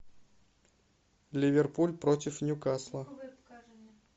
ливерпуль против ньюкасла